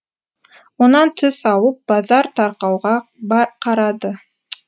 онан түс ауып базар тарқауға қарады